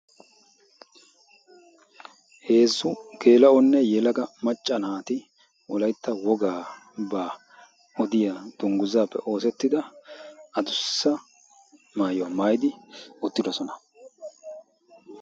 heezzu geela7onne yelaga macca naati wolaitta wogaa baa odiya dungguzzaappe oosettida adussa maayuwaa maayidi oottidosona